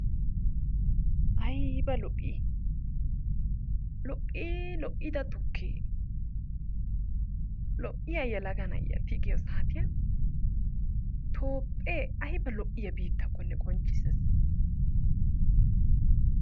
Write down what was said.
Ayiiba lo'i lo'ii lo'ida tukkee lo'iyaa yelaaga na'iyaa tigiiyoo saatiyaan toophphee ayba lo'iyaa biitakkonne qonccisees.